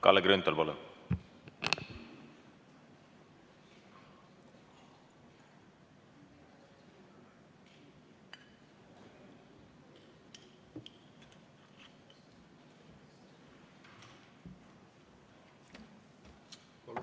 Kalle Grünthal, palun!